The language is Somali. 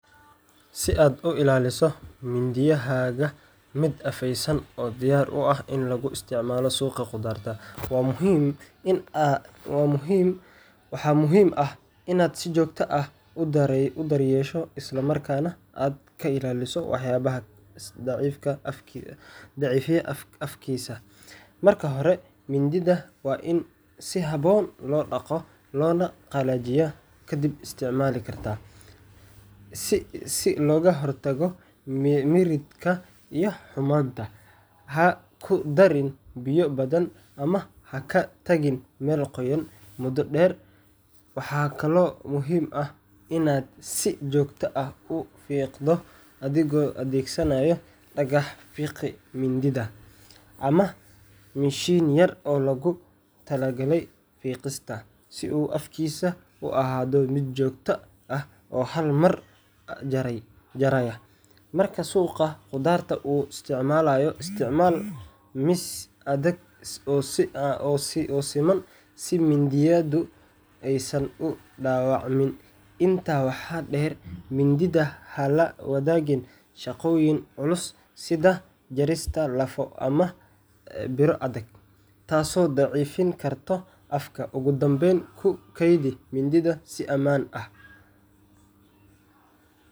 Si aad u ilaaliso mindiyahaaga mid afaysan oo diyaar u ah in lagu isticmaalo suuqa khudaarta, waxa muhiim ah inaad si joogto ah u daryeesho isla markaana aad ka ilaaliso waxyaabaha daciifiya afkiisa. Marka hore, mindida waa in si habboon loo dhaqo loona qalajiyaa kadib isticmaal kasta, si looga hortago miridhka iyo xumaanta. Ha ku darin biyo badan ama ha ka tagin meel qoyan muddo dheer. Waxaa kaloo muhiim ah inaad si joogto ah u fiiqdo adigoo adeegsanaya dhagax fiiqa mindida sharpening stone ama mashiin yar oo loogu talagalay fiiqista, si uu afkiisu u ahaado mid joogto ah oo halmar jaraya. Markaad suuqa khudaarta u isticmaaleyso, isticmaal miis adag oo siman si mindidu aysan u dhaawacmin. Intaa waxaa dheer, mindida ha la wadaagin shaqooyin culus sida jarista lafo ama biro adag, taasoo daciifin karta afka. Ugu dambayn, ku kaydi mindida si amaan ah.